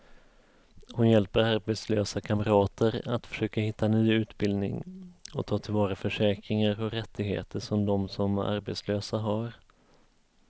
Hon hjälper arbetslösa kamrater att försöka hitta ny utbildning och ta till vara försäkringar och rättigheter som de som arbetslösa har.